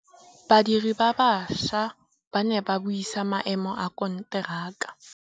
Badiri ba baša ba ne ba buisa maêmô a konteraka.